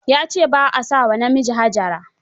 Ya ce ba a sa wa namiji Hajara